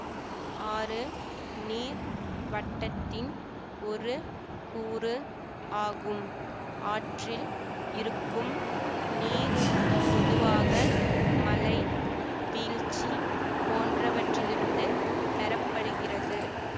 ஆறு நீர் வட்டத்தின் ஒரு கூறு ஆகும் ஆற்றில் இருக்கும் நீர் பொதுவாக மழை வீழ்ச்சி போன்றவற்றிலிருந்து பெறப்படுகிறது